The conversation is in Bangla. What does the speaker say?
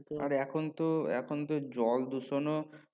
এখন তো এখন তো জল দূষন ও